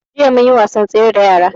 Jiya mun yi wasan tsere da yara